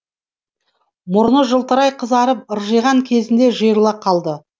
мұрны жылтырай қызарып ыржиған кезінде жиырыла қалды